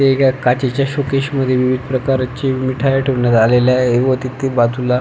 एका काचेच्या शोकेस मध्ये विविध प्रकारचे मिठाई ठेवण्यात आलेल आहे व तिथे बाजूला--